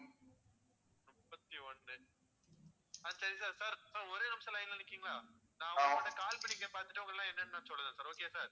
முப்பத்தி ஒண்ணு ஆஹ் சரி sir sir ஒரே நிமிஷம் line ல நிக்கிறீங்களா நான் அவன்கிட்ட call பண்ணி பாத்துட்டு, என்னன்னு சொல்லுதேன் sir okay யா sir